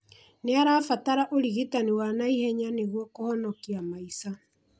Nĩarabatara ũrigitani wa naihenya nĩguo kũhonokia maica